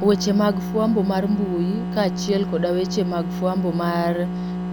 Weche mag fwambo mar mbui kaachiel koda weche mag fwambo mar